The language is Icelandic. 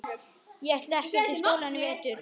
Ég ætla ekkert í skólann í vetur.